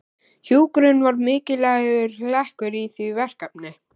Hjúkrun var mikilvægur hlekkur í því verkefni.